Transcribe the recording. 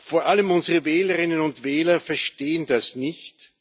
Vor allem unsere Wählerinnen und Wähler verstehen das nicht.